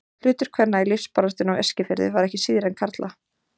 Hlutur kvenna í lífsbaráttunni á Eskifirði var ekki síðri en karla.